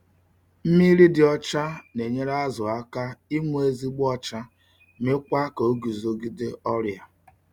Mmiri dị ọcha na-enyere azu aka inwe ezigbo ocha mekwa ka ọgụzogịde ọria